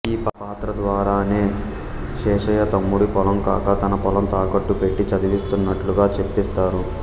ఆ పాత్ర ద్వారానే శేషయ్య తమ్ముడి పొలం కాక తన పొలం తాకట్టు పెట్టి చదివిస్త్తునట్లుగా చెప్పిస్తారు